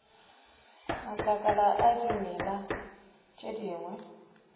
matlakala a dimela tše dingwe